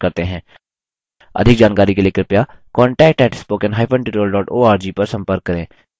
अधिक जानकारी के लिए कृपया contact at spoken hyphen tutorial dot org पर संपर्क करें